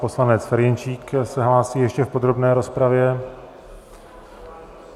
Poslanec Ferjenčík se hlásí ještě v podrobné rozpravě.